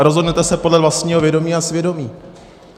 A rozhodnete se podle vlastního vědomí a svědomí.